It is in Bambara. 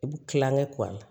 I bi kilankɛ